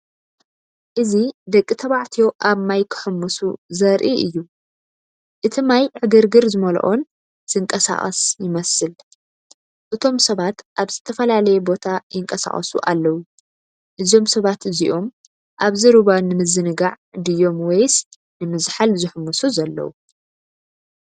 እዚ ደቂ ተባዕትዮ ኣብ ማይ ክሕምሱ ዘርኢ እዩ። እቲ ማይ ዕግርግር ዝመልኦን ዝንቀሳቐስ ይመስል። እቶም ሰባት ኣብ ዝተፈላለየ ቦታ ይንቀሳቐሱ ኣለው። እዞም ሰባት እዚኦም ኣብዚ ሩባ ንምዝንጋዕ ድዮም ወይስ ንምዝሓል ዝሕምሱ ዘለው?